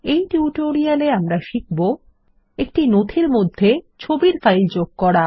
এই টিউটোরিয়াল এ আমরা শিখব160 একটি নথির মধ্যে ছবির ফাইল যোগ করা